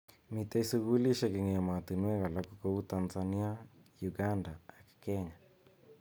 Mitei sukulishek eng emetonwek alak kou Tanzania, Uganda ak Kenya.